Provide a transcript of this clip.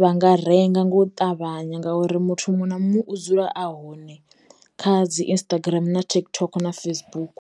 vha nga renga nga u ṱavhanya ngauri muthu muṅwe na muṅwe u dzula a hone kha dzi Instagram na TikTok na Facebook.